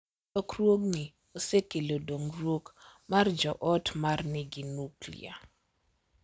Lokruogni osekelo dongruok mar jo ot ma nigi nuklia,